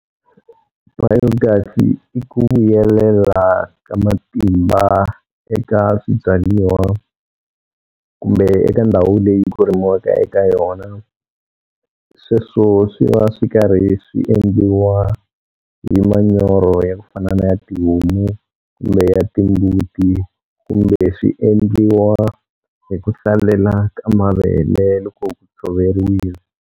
Biogas-i i ku vuyelela ka matimba eka swibyaiwa kumbe eka ndhawu leyi ku rimiwaka eka yona sweswo swi va swi karhi swi endliwa hi manyoro ya ku fana na ya tihomu kumbe ya timbuti kumbe swi endliwa hi ku hlalela ka mavele loko ku tshoveriwile.